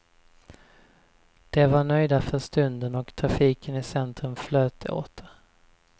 De var nöjda för stunden, och trafiken i centrum flöt åter.